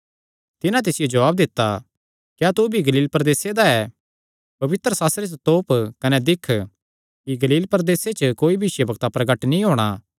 तिन्हां तिसियो जवाब दित्ता क्या तू भी गलील प्रदेसे दा ऐ पवित्रशास्त्रे च तोप कने दिक्ख कि गलील प्रदेसे च कोई भविष्यवक्ता प्रगट नीं होणा